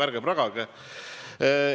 Ärge pragage!